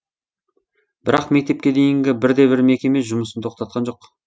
бірақ мектепке дейінгі бір де бір мекеме жұмысын тоқтатқан жоқ